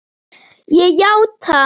Ég játa.